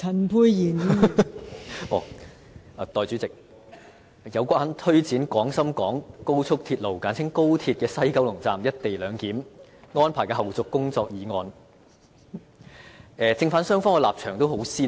代理主席，就"有關推展廣深港高速鐵路西九龍站'一地兩檢'安排的後續工作的議案"，正反雙方的立場都很鮮明。